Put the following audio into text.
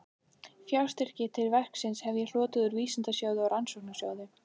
Fjárstyrki til verksins hef ég hlotið úr Vísindasjóði og Rannsóknarsjóði